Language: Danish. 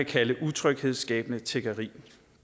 kalde utryghedsskabende tiggeri